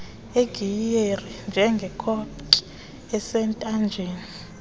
legiyeri njengekhoki esentanjeni